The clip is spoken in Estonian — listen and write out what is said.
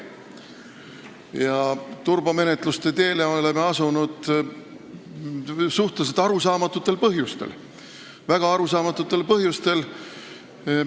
Ja sellele turbomenetluste teele me oleme astunud suhteliselt arusaamatutel põhjustel, õigemini väga arusaamatutel põhjustel.